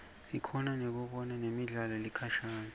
sikhona kubona nemidlalo lekhashane